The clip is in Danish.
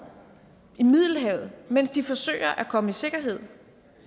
i middelhavet mens de forsøger at komme i sikkerhed